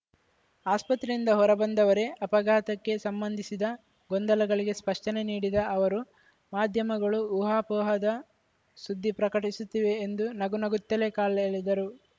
ಆಸ್ಪತ್ರೆಯಿಂದ ಹೊರಬಂದವರೇ ಅಪಘಾತಕ್ಕೆ ಸಂಬಂಧಿಸಿದ ಗೊಂದಲಗಳಿಗೆ ಸ್ಪಷ್ಟನೆ ನೀಡಿದ ಅವರು ಮಾಧ್ಯಮಗಳು ಊಹಾಪೋಹದ ಸುದ್ದಿ ಪ್ರಕಟಿಸುತ್ತಿವೆ ಎಂದು ನಗುನಗುತ್ತಲೇ ಕಾಲೆಳೆದರು